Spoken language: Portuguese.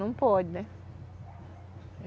Não pode, né?